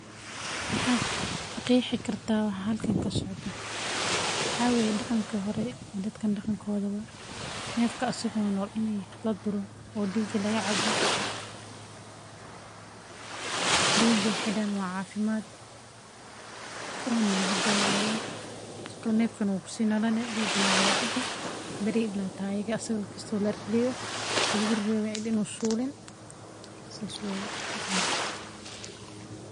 Maxaa qeexi kartaa waxa halkan ka socda, waxaa weye daqanki horetee dadkan daqankoda waye, nefka asaggo nol Laduro oo digga laga cabo, digga wexe dahan waa cafimaad, wana lagu dawowaa, sithokalete nefka wu si nolani digana waa laga cabi, bariya asaga la rarewi kisto in u sulin, sas weye daqankan.